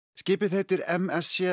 skipið heitir m s c